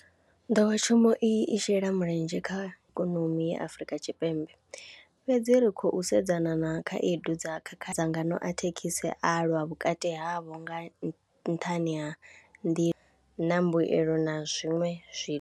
Nḓowetshumo i shela mulenzhe kha ikonomi ya Afrika Tshipembe fhedzi ri khou sedzana na khaedu dza kha dzangano a thekhisi a lwa vhukati havho nga nṱhani ha na mbuyelo na zwiṅwe zwithu.